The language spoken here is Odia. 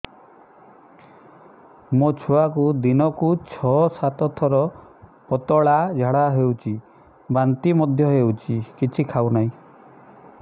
ମୋ ଛୁଆକୁ ଦିନକୁ ଛ ସାତ ଥର ପତଳା ଝାଡ଼ା ହେଉଛି ବାନ୍ତି ମଧ୍ୟ ହେଉଛି କିଛି ଖାଉ ନାହିଁ